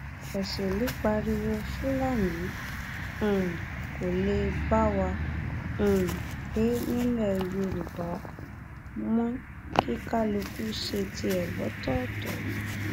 èṣèlú pariwo fúlàní um kó lè bá wa um gbé nílẹ yorùbá mọ kí kálukú ṣe tiẹ lọtọọtọ